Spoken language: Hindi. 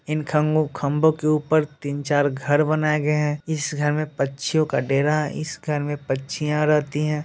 इन ख-खंभों के ऊपर तीन-चार घर बनाये गये है इस घर में पक्षियो का डेरा इस घर में पक्षियां रहती है।